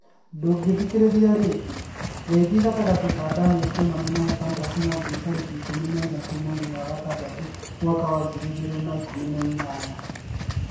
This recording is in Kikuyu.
Ndũngĩthikĩrĩria rĩngĩ; Ngeithi gatagatĩ ka Daniel Kimani na Ephantus Mwangi tarĩki ikũmi na ithatũ mweri wa ĩtandatũ mwaka wa ngiri igĩrĩ na ikũmi na inyanya